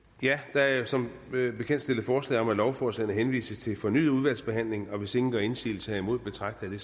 der er som bekendt stillet forslag om at lovforslagene henvises til fornyet udvalgsbehandling hvis ingen gør indsigelse herimod betragter jeg